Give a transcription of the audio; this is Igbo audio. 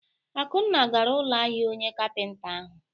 Akunna gara ụlọ ahịa onye kapịnta ahụ.